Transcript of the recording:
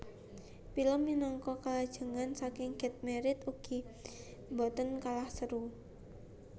Pilem minangka kalajengan saking Get Married ugi boten kalah seru